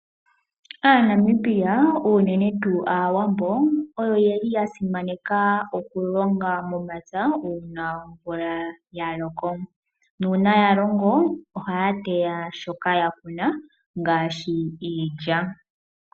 Aanamibia unene tuu Aawambo oyo ye li ya simaneka okulonga momapya uuna omvula ya loko. Nuuna ya longo, ohaya teya shoka ya kuna ngaashi iilya.